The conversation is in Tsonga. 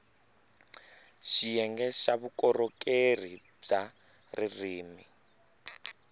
xiyenge xa vukorhokeri bya ririrmi